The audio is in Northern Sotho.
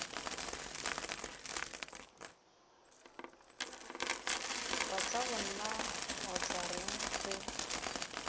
batlagonna o tla reng ge